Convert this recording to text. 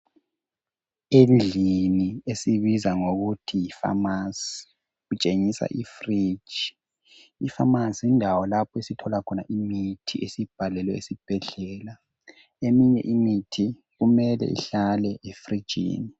Endlini esiyibiza ngokuthi yifamasi kutshengiswa ifirigi. Ifamasi yindawo lapho esithola khona imithi esiyibhalelwe esibhedlela. Eminye imithi kumele ihlale efrigini